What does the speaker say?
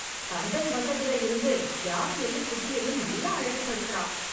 கந்தன் வந்ததுல யிருந்து யானையையும் , குட்டியையும் நல்லா அழகு படுத்துறான்.